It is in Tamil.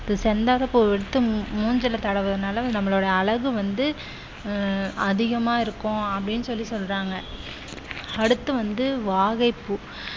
செந்தாழம் பூ எடுத்து மூஞ்சில தடவுறதுனால நம்மளோட அழகு வந்து அஹ் அதிகமா இருக்கும் அப்படீன்னு சொல்லி சொல்றாங்க அடுத்து வந்து வாகை பூ